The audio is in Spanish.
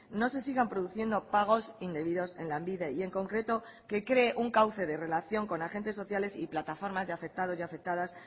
no se sigan produciendo pagos indebidos en lanbide y en concreto que cree un cauce de relación con agentes sociales y plataformas de afectados y afectadas